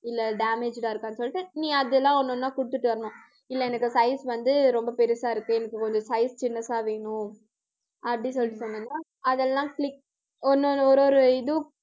இல்லை, damaged ஆ இருக்கான்னு சொல்லிட்டு நீ அதெல்லாம் ஒண்ணு, ஒண்ணா குடுத்துட்டு வரணும் இல்லை, எனக்கு size வந்து ரொம்ப பெருசா இருக்கு. எனக்கு கொஞ்சம் size சின்னசா வேணும். அப்படி சொல்லிட்டு சொன்னாங்க. அதெல்லாம் click ஒண்ணு ஒரு ஒரு இதுவும்,